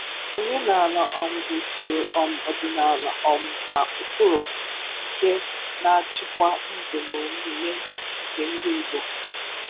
Omenaala um bụ usoro um ọdịnaala um na ụkpụrụ nke na-achịkwa ndụ na omume nke ndị Igbo.